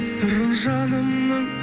сырын жанымның